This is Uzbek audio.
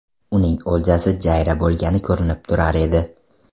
Uning o‘ljasi jayra bo‘lgani ko‘rinib turar edi.